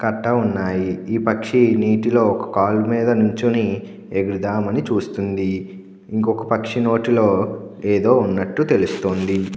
టాటా వునాయి ఈ పక్షి నీటిలో ఒక కాలు మీద నించుని ఎగురుదామని చూస్తుంది. ఇంకొక పక్షి నోటిలో ఏదో ఉన్నట్లు తెలుస్తోంది.